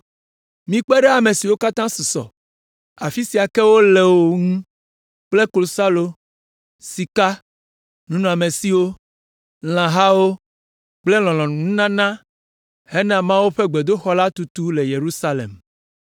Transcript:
Mikpe ɖe ame siwo katã susɔ, afi ka ke wole o ŋu kple klosalo, sika, nunɔmesiwo, lãhawo kple lɔlɔ̃nununana hena Mawu ƒe gbedoxɔ la tutu le Yerusalem.”